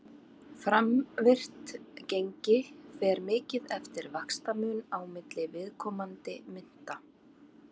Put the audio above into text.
Framvirkt gengi fer mikið eftir vaxtamun á milli viðkomandi mynta.